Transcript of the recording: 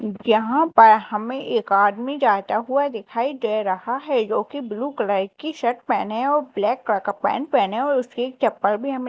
जहां पर हमें एक आदमी जाता हुआ दिखाई दे रहा है जो की ब्लू कलर की शर्ट पहने और ब्लैक कलर का पैंट पहने और उसकी चप्पल भी हमें--